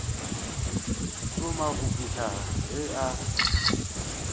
šoma go fihla ge a